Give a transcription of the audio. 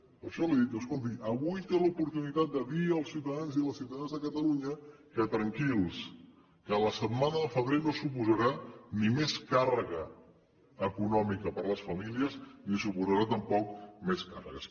per això li he dit escolti avui té l’oportunitat de dir als ciutadans i ciutadanes de catalunya que tranquils que la setmana de febrer no suposarà ni més càrrega econòmica per a les famílies ni suposarà tampoc més càrregues